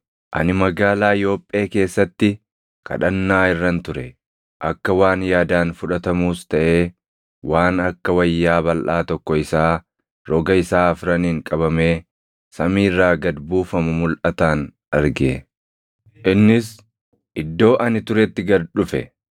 “Ani magaalaa Yoophee keessatti kadhannaa irran ture; akka waan yaadaan fudhatamuus taʼee waan akka wayyaa balʼaa tokko isaa roga isaa afraniin qabamee samii irraa gad buufamu mulʼataan arge. Innis iddoo ani turetti gad dhufe.